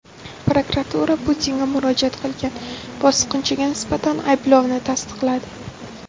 Prokuratura Putinga murojaat qilgan bosqinchiga nisbatan ayblovni tasdiqladi.